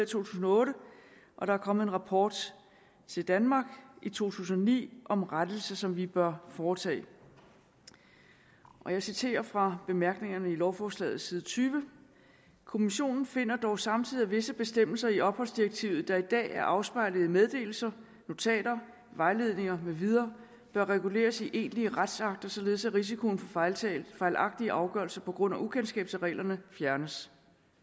tusind og otte og der er kommet en rapport til danmark i to tusind og ni om en rettelse som vi bør foretage og jeg citerer fra bemærkningerne i lovforslaget side 20 kommissionen finder dog samtidig at visse bestemmelser i opholdsdirektivet der i dag er afspejlet i meddelelser notater vejledninger med videre bør reguleres i egentlige retsakter således at risikoen for fejlagtige afgørelser på grund af ukendskab til reglerne fjernes